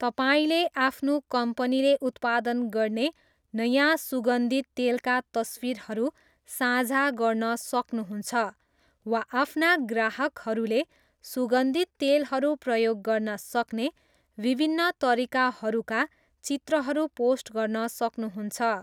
तपाईँले आफ्नो कम्पनीले उत्पादन गर्ने नयाँ सुगन्धित तेलका तस्विरहरू साझा गर्न सक्नुहुन्छ वा आफ्ना ग्राहकहरूले सुगन्धित तेलहरू प्रयोग गर्न सक्ने विभिन्न तरिकाहरूका चित्रहरू पोस्ट गर्न सक्नुहुन्छ।